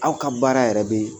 Aw ka baara yɛrɛ bɛ